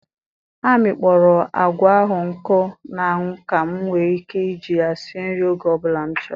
A mịkpọrọ agwa ahụ nkụ na anwụ ka m nwee ike iji ya sie nri oge ọ bụla m chọrọ.